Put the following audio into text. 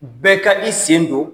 Bɛɛ ka i sen don